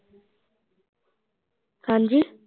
ਹਾਂਜੀ